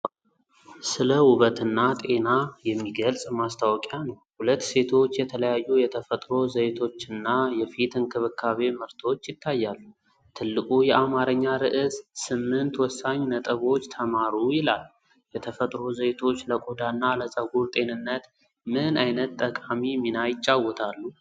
ስለ ውበትና ጤና የሚገልጽ ማስታወቂያ ነው። ሁለት ሴቶች፣ የተለያዩ የተፈጥሮ ዘይቶችና የፊት እንክብካቤ ምርቶች ይታያሉ። ትልቁ የአማርኛ ርዕስ "8 ወሳኝ ነጥቦች ተማሩ!" ይላል። የተፈጥሮ ዘይቶች ለቆዳና ለፀጉር ጤንነት ምን ዓይነት ጠቃሚ ሚና ይጫወታሉ?